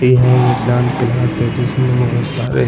यह एक dance class है जिसमे बोहत सारे --